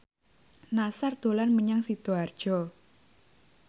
Nassar dolan menyang Sidoarjo